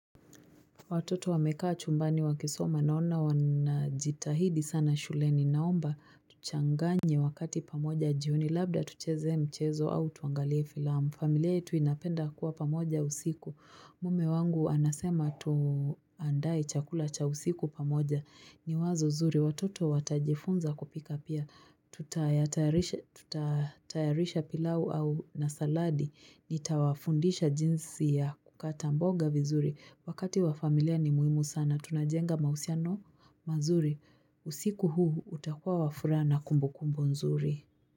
Watoto wamekaa chumbani wakisoma naona wanajitahidi sana shuleni naomba tuchanganye wakati pamoja jioni labda tucheze mchezo au tuangalie filamu. Familia yetu inapenda kuwa pamoja usiku. Mume wangu anasema tuandae chakula cha usiku pamoja. Ni wazo zuri. Watoto watajifunza kupika pia. Tuta tayarisha pilau au na saladi Nitawafundisha jinsi ya kukata mboga vizuri Wakati wa familia ni muhimu sana Tunajenga mahusiano mazuri usiku huu utakua wafuraha na kumbu kumbu nzuri.